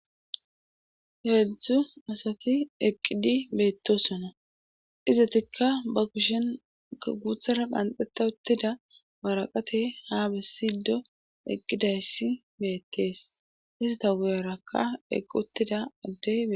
H edzdzu asati eqqidi beetto sona izatikka ba kushen guuthara qhanxeta uttida baraqate ha bessido eqqidayssi beettees hissata guyarakka eqqi uttida addey